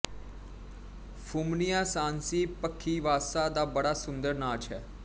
ਫੁਮਣੀਆਂ ਸ੍ਹਾਂਸੀ ਪੱਖੀਵਾਸਾ ਦਾ ਬੜਾ ਸੁੰਦਰ ਨਾਚ ਹੈ